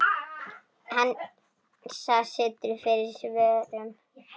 Hansa situr fyrir svörum.